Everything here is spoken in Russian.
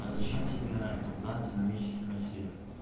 а зачем тебе богдан динамический массив